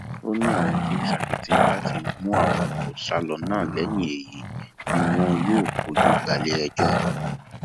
ó ní àwọn tí ń ṣakitiyan láti mú àwọn tó sá lọ náà lẹyìn èyí ni wọn yóò fojú balẹẹjọ